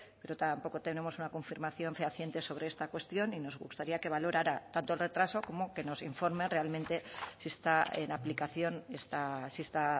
pero tampoco tenemos una confirmación fehaciente sobre esta cuestión y nos gustaría que valorara tanto el retraso como que nos informe realmente si está en aplicación esta